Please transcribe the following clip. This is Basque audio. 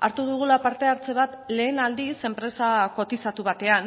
hartu dugula parte hartze bat lehen aldiz enpresa kotizatu batean